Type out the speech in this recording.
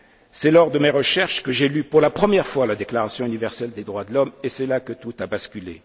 du mal. C'est lors de mes recherches que j'ai lu pour la première fois la déclaration universelle des droits de l'homme, et c'est là que tout a